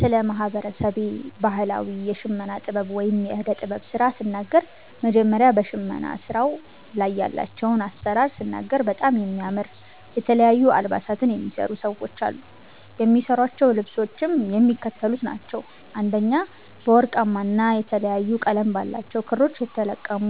ስለ ማህበረሰቤ ባህላዊ የሽመና ጥበብ ወይም የእደ ጥበብ ስራ ስናገር መጀመሪያ በሸመና ስራዉ ላይ ያላቸዉን አሰራር ስናገር በጣም የሚያምር የተለያዩ አልባሳትን የሚሰሩ ሰዎች አሉ። የሚሰሯቸዉ ልብሶችም የሚከተሉት ናቸዉ፦ 1) በወርቃማ ና የተለያየ ቀለም ባላቸዉ ክሮች የተለቀሙ